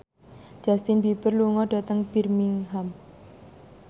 Justin Beiber lunga dhateng Birmingham